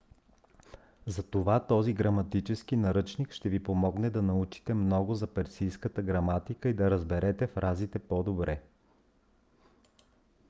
затова този граматически наръчник ще ви помогне да научите много за персийската граматика и да разберете фразите по-добре